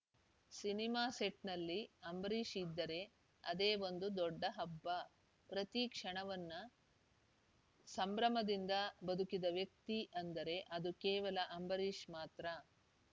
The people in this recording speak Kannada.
ಸಿನಿಮಾ ಸೆಟ್‌ನಲ್ಲಿ ಅಂಬರೀಷ್‌ ಇದ್ದರೆ ಅದೇ ಒಂದು ದೊಡ್ಡ ಹಬ್ಬ ಪ್ರತಿ ಕ್ಷಣವನ್ನ ಸಂಭ್ರಮದಿಂದ ಬದುಕಿದ ವ್ಯಕ್ತಿ ಅಂದರೆ ಅದು ಕೇವಲ ಅಂಬರೀಷ್‌ ಮಾತ್ರ